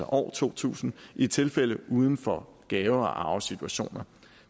år to tusind i tilfælde uden for gave og arvesituationer